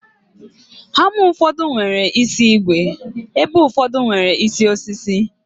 Hama ụfọdụ nwere isi ígwè, ebe ụfọdụ nwere isi osisi